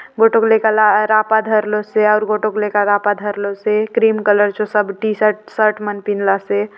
बटुक लइका ला रापा धर लो से और गोटुक लइका ला रापा धर लो से क्रीम कलर जो सब टी-शर्ट शर्ट मन पिंदला से --